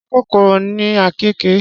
Ṣé kòkòrò ni àkekèé?